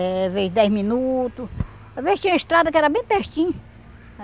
Eh... Às vezes dez minutos, às vezes tinha estrada que era bem pertinho.